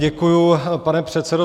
Děkuji, pane předsedo.